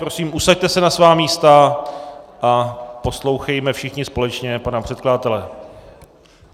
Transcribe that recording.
Prosím, usaďte se na svá místa a poslouchejme všichni společně pana předkladatele.